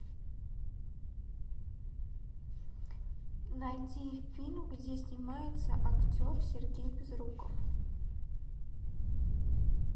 найди фильм где снимается актер сергей безруков